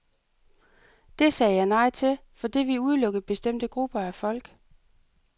Det sagde jeg nej til, fordi det ville udelukke bestemte grupper af folk.